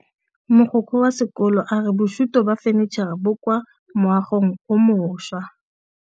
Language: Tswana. Mogokgo wa sekolo a re bosutô ba fanitšhara bo kwa moagong o mošwa.